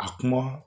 A kuma